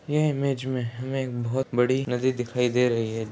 यह इमेज में हमें एक बहुत बड़ी नदी दिखाई दे रही है।